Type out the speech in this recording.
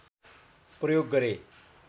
प्रयोग गरे